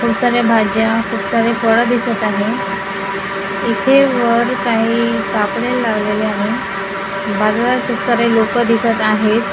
खूप साऱ्या भाज्या खूप सारे फळं दिसत आहे इथे वर काही कापडे लावलेले आहे बाजारात खूप सारे लोकं दिसत आहेत.